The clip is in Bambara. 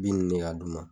Bin de ka d'u ma